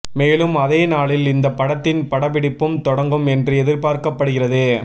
மேலும் அதே நாளில் இந்த படத்தின் படப்பிடிப்பும் தொடங்கும் என்றும் எதிர்பார்க்கப்படுகிறது